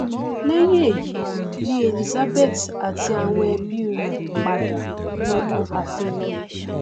lẹhìn èyí ni elizabeth àti àwọn ẹbí i rẹ padà wọnu àfin lọ